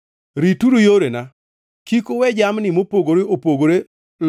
“ ‘Rituru yorena. “ ‘Kik uwe jamni mopogore opogore